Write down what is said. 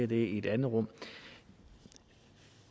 det i et andet rum